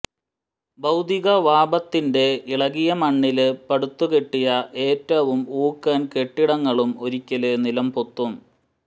ഭൌതികവാഭത്തിന്റെ ഇളകിയ മണ്ണില് പടുത്തുകെട്ടിയ ഏറ്റവും ഊക്കന് കെട്ടിടങ്ങളും ഒരിക്കല് നിലംപൊത്തും